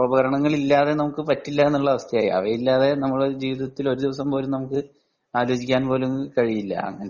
യന്ത്രോപകരണങ്ങൾ ഇല്ലാതെ നമുക്ക് പറ്റില്ല അവസ്ഥയായി അവയിലത്തെ നമുക്ക് ജീവിതത്തിൽ ഒരു ദിവസം പോലും ആലോചിക്കാൻ പോലും കഴിയില്ല